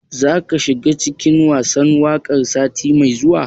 Za ka shiga cikin gasar waƙar sati mai zuwa?